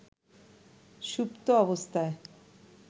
সুপ্ত অবস্থায়